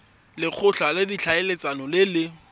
lekgotla la ditlhaeletsano le le